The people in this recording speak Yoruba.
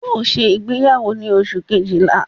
Yóò ṣe ìgbéyàwó ni Oṣù kejìlá